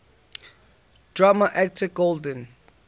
drama actor golden